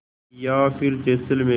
या फिर जैसलमेर